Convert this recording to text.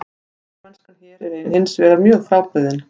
Spilamennskan hér er hinsvegar mjög frábrugðin.